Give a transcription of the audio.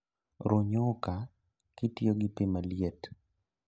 Ruu nyuka kitiyogi pii maliet